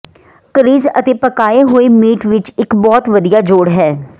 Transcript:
crease ਅਤੇ ਪਕਾਏ ਹੋਏ ਮੀਟ ਲਈ ਇੱਕ ਬਹੁਤ ਵਧੀਆ ਜੋੜ ਹੈ